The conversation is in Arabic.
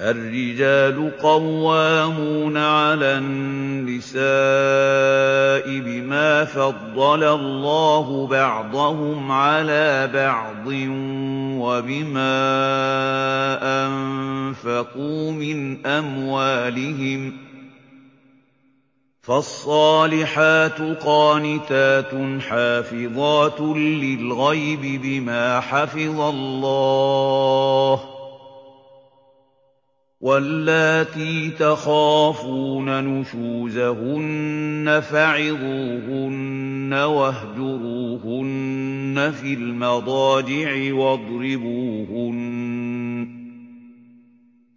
الرِّجَالُ قَوَّامُونَ عَلَى النِّسَاءِ بِمَا فَضَّلَ اللَّهُ بَعْضَهُمْ عَلَىٰ بَعْضٍ وَبِمَا أَنفَقُوا مِنْ أَمْوَالِهِمْ ۚ فَالصَّالِحَاتُ قَانِتَاتٌ حَافِظَاتٌ لِّلْغَيْبِ بِمَا حَفِظَ اللَّهُ ۚ وَاللَّاتِي تَخَافُونَ نُشُوزَهُنَّ فَعِظُوهُنَّ وَاهْجُرُوهُنَّ فِي الْمَضَاجِعِ وَاضْرِبُوهُنَّ ۖ